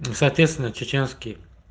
соответственно чеченский